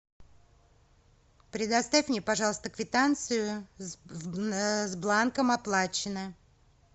предоставь мне пожалуйста квитанцию с бланком оплачено